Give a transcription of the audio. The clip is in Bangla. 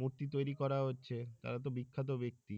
মূর্তি তৈরি করা হচ্ছে তারা তো বিখ্যাত ব্যাক্তি।